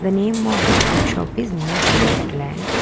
the name of the fruit shop is new fruit land.